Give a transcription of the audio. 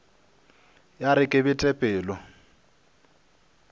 ya re ke bete pelo